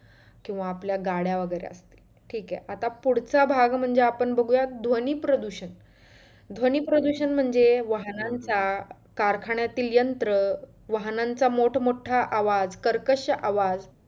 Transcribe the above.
किंवा आपल्या गाड्या वगैरे ठीक आह. आता पुढचं भाग म्हणजे आपण बघूया ध्वनी प्रदुषण ध्वनी प्रदुषण म्हणजे वाहनांचा कारखान्यातील यंत्र वाहनांचा मोठं मोठा आवाज, कर्कश आवाज,